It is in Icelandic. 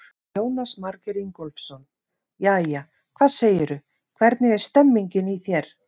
Jónas Margeir Ingólfsson: Jæja, hvað segirðu, hvernig er stemmingin í þér?